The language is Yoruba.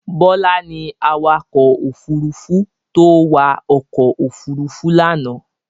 Bọlá ni awakọ̀ òfurufó tó wa ọkọ̀ òfurufú lánàá.